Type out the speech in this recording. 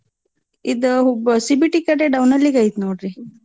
ಇದ ಹುಬ್ CBT ಕಡೆ down ಅಲ್ಲಿಗೈತ್ ನೋಡ್ರಿ.